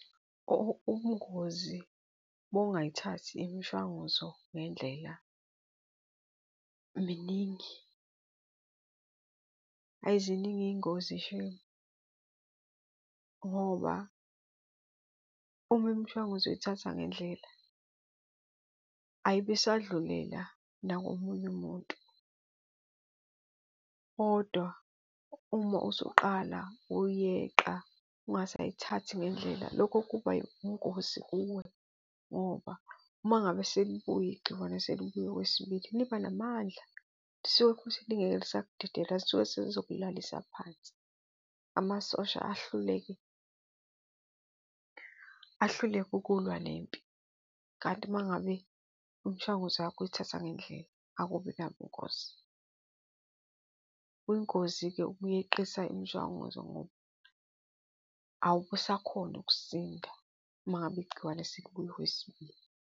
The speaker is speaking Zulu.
Ubungozi bokungayithathi imishwanguzo ngendlela, miningi. Ayi, ziningi iy'ngozi shame ngoba uma imishwanguzo uyithatha ngendlela ayibe isadlulela nakomunye umuntu kodwa uma usuqala uyeqa, ungasayithathi ngendlela. Lokho kuba yingozi kuwe ngoba uma ngabe selibuya igciwane selibuya okwesibili libanamandla, lisuke kuthi lingeke lisakudedela, lisuke selizokulalisa phansi, amasosha ahluleke, ahluleke ukulwa nempi. Kanti uma ngabe imishwanguzo yakho uyithatha ngendlela akubi nabungozi. Kuyingozi-ke ukuyeqisa imishwanguzo ngoba awube usakhona ukusinda uma ngabe igciwane selibuya okwesibili.